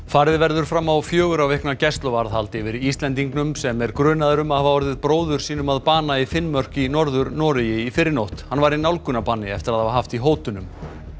farið verður fram á fjögurra vikna gæsluvarðhald yfir Íslendingnum sem er grunaður um að hafa orðið bróður sínum að bana í Finnmörk í Norður Noregi í fyrrinótt hann var í nálgunarbanni eftir að hafa haft í hótunum